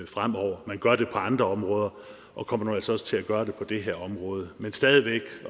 fremover man gør det på andre områder og kommer nu også til at gøre det på det her område men stadig væk